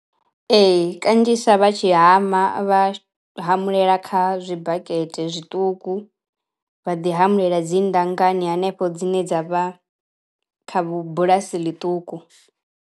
Ee kanzhisa vha tshi hama vha hamulela kha tshibakete zwiṱuku vha ḓi hamulela dzi ndanganya hanefho dzine dza vha kha vhu bulasi ḽiṱuku.